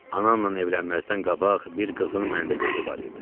Ananla evlənməzdən qabaq bir qızın məndə gözü var idi.